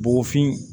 Bɔgɔfin